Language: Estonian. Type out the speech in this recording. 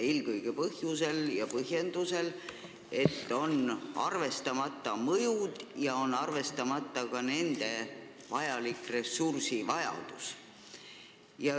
Seda eelkõige põhjusel ja põhjendusega, et arvestamata on mõjud omavalitsustele ja ka nende ressursivajadus.